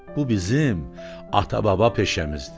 Bu bizim ata-baba peşəmizdir.